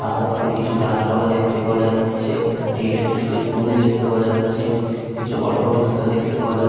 আশেপাশে কিছু গাছপালা দেখতে পাওয়া যাচ্ছে একটি ইলেক্ট্রিক এর পোল দেখতে পাওয়া যাচ্ছে কিছু অটো রিকশা দেখতে পাওয়া যাচ --